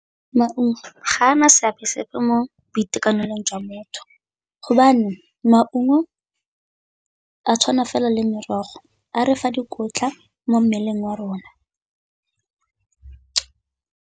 Maungo ga a na seabe sepe mo boitekanelong jwa motho, hobane maungo a tshwana fela le merogo a re fa dikotla mo mmeleng wa rona.